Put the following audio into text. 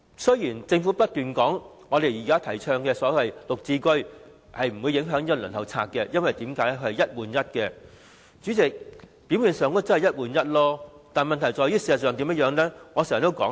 雖然政府不斷說現時提出的綠表置居計劃不會影響輪候冊，因為是一個單位換一個單位，但它沒有任何方案解決輪候人數眾多的問題。